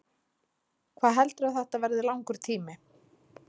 Hvað heldurðu að þetta verði langur tími?